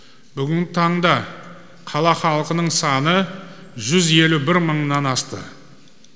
бүгінгі таңда қала халқының саны жүз елу бір мыңнан асты